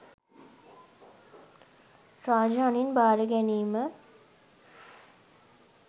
රාජ අණින් බාර ගැනීම